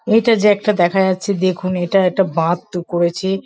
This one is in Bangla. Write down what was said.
এটা যে একটা দেখা যাচ্ছে দেখুন এটা একটা বাঁধ তো করেছি ।